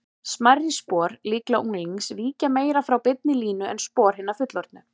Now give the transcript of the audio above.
Smærri spor, líklega unglings, víkja meira frá beinni línu en spor hinna fullorðnu.